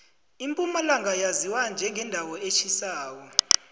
impumalanga yaziwa njengendawo etjhisako